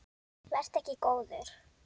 Vertu ekki góður.